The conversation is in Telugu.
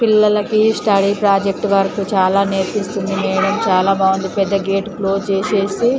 పిల్లలకి స్టడీ ప్రాజెక్టు వరకు చాలా నేర్పిస్తుంది. మేడం చాలా బాగుందిపెద్ద గేట్ క్లోజ్ చేసేసి --